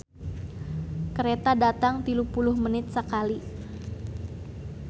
"Kareta datang tilu puluh menit sakali"